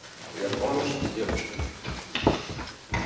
я помощь ты девушка